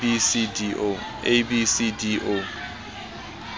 a b c d o